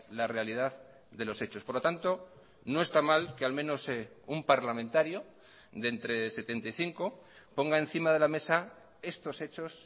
la realidad de los hechos por lo tanto no está mal que al menos un parlamentario de entre setenta y cinco ponga encima de la mesa estos hechos